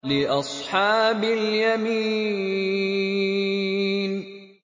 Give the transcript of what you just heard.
لِّأَصْحَابِ الْيَمِينِ